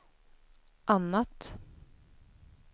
annat